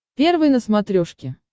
первый на смотрешке